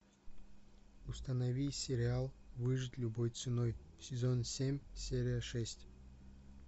установи сериал выжить любой ценой сезон семь серия шесть